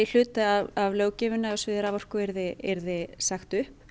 hluta af löggjöfinni á sviði raforku yrði yrði sagt upp